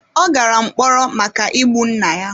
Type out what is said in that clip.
Ọ gara mkpọrọ maka igbu nna ya.